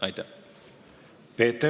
Aitäh!